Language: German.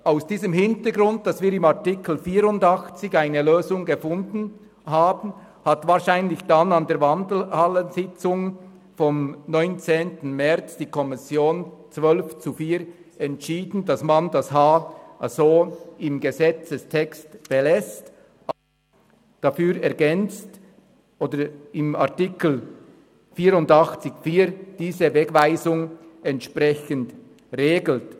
Vor dem Hintergrund, dass wir in Artikel 84 eine Lösung gefunden haben, hat die Kommission wahrscheinlich an der Wandelhallensitzung vom 19. März mit 12 zu 4 Stimmen entschieden, den Buchstaben h im Gesetzestext so zu belassen, diesen aber ergänzt oder wie in Artikel 84 Absatz 4 die Wegweisung entsprechend regelt.